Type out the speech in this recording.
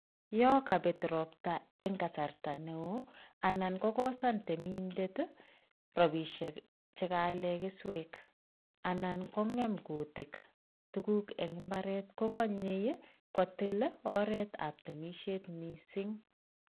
Yo kabet ropta eng kasarta noe anan kokosan temindet ii robosiek che kaalen keswek anan ko ngem kutik tuguk eng imbaret kokanyei kotil ii oretab temisiet mising.